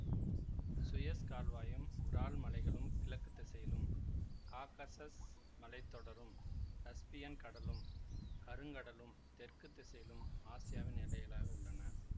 Suez கால்வாயும் Ural மலைகளும் கிழக்கு திசையிலும் காகசஸ் மலைத்தொடரும் கஸ்பியன் கடலும் கருங்கடலும் தெற்கு திசையிலும் ஆசியாவின் எல்லைகளாக உள்ளன